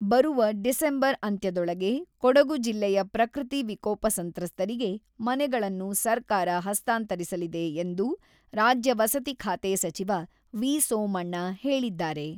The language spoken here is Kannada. ಬರುವ ಡಿಸೆಂಬರ್ ಅಂತ್ಯದೊಳಗೆ ಕೊಡಗು ಜಿಲ್ಲೆಯ ಪ್ರಕೃತಿ ವಿಕೋಪ ಸಂತ್ರಸ್ತರಿಗೆ ಮನೆಗಳನ್ನು ಸರ್ಕಾರ ಹಸ್ತಾಂತರಿಸಲಿದೆ ಎಂದು ರಾಜ್ಯ ವಸತಿ ಖಾತೆ ಸಚಿವ ವಿ.ಸೋಮಣ್ಣ ಹೇಳಿದ್ದಾರೆ.